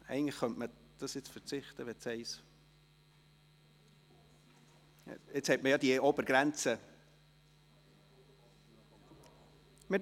Eigentlich könnten wir darauf verzichten, weil man mit dem Punkt 1 die Obergrenze hat.